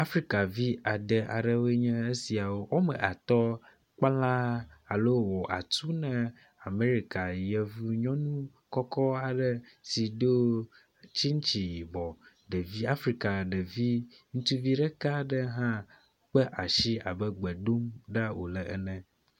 Afrika vi ade aɖewoe nye esiawo, woame atɔ̃ kpla alo wɔ atu ne Amɛrika yevu nyɔnu kɔkɔ aɖe si do tsitsi yibɔ. Ɖevi Afrika ɖevi ŋutsuvi ɖeka aɖe kpe asi abe gbe dom ɖa wòle ene.